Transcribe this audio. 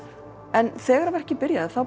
en þegar verkið byrjaði